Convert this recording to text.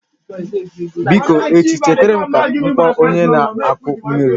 Biko echi chetara m ka m kpọọ onye na-akụ mmiri